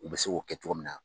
U bɛ se k'o kɛ cogo min na.